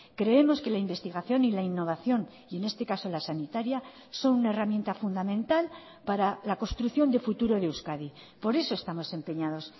creemos que la investigación y la innovación y en este caso la sanitaria son una herramienta fundamental para la construcción de futuro de euskadi por eso estamos empeñados